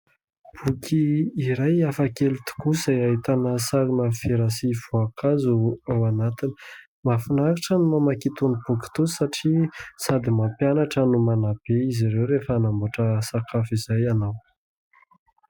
Boky iray hafa kely tokoa izay ahitana sarina vera sy voankazo ao anatiny. Mahafinaritra ny mamaky itony boky itony satria sady mampianatra no manabe izy ireo rehefa hanamboatra sakafo izay ianao.